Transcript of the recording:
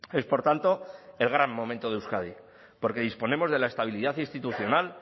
es por tanto el gran momento de euskadi porque disponemos de la estabilidad institucional